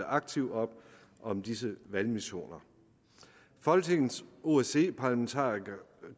aktivt op om disse valgmissioner folketingets osce parlamentarikere